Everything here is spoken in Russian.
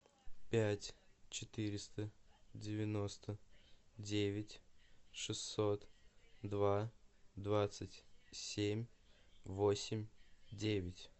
пять четыреста девяносто девять шестьсот два двадцать семь восемь девять